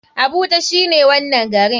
Abuja shine wanan garin.